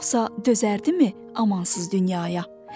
Yoxsa dözərdimi amansız dünyaya.